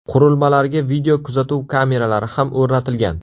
Qurilmalarga videokuzatuv kameralari ham o‘rnatilgan.